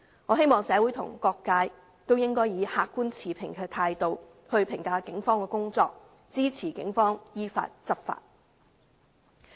我希望社會各界應以客觀持平的態度來評價警方的工作，支持警方依法執法。